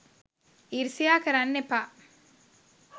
ඊරිසියා කරන්න එපා